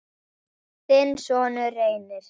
Þinn sonur, Reynir.